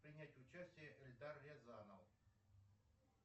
принять участие эльдар рязанов